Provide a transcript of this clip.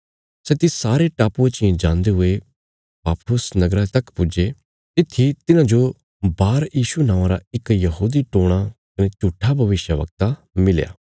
सै तिस सारे टापुये चियें जान्दे हुये पाफुस नगरा तक पुज्जे तित्थी तिन्हांजो बारयीशु नौआं रा इक यहूदी टोणा कने झूट्ठा भविष्यवक्ता मिलया